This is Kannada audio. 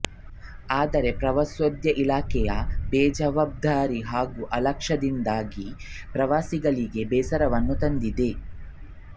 ಆದರೆ ಪ್ರವಾಸೋದ್ಯ ಇಲಾಖೆಯ ಬೇಜವಾಬ್ದಾರಿ ಹಾಗೂ ಅಲಕ್ಷ್ಯದಿಂದಾಗಿ ಪ್ರವಾಸಿಗಳಿಗೆ ಬೇಸರವನ್ನು ತಂದಿದೆ